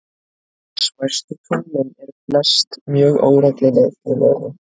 Smæstu tunglin eru flest mjög óregluleg í lögun.